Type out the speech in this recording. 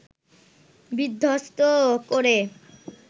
বিধ্বস্ত করে